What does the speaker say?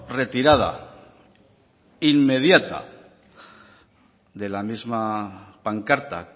retirada inmediata de la misma pancarta